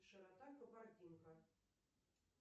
широта кабардинка